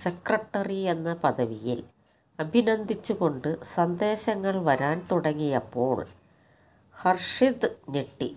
സെക്രട്ടറിയെന്ന പദവിയില് അഭിനന്ദിച്ചുകൊണ്ട് സന്ദേശങ്ങള് വരാന് തുടങ്ങിയപ്പോള് ഹര്ഷിത് ഞെട്ടി